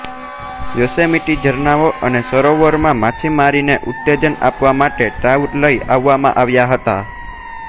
Yosemite ઝરણાંઓ અને સરોવરોમાં માછીમારીને ઉત્તેજન આપવા માટે ટ્રાઉટ લઈ આવવામાં આવ્યા હતા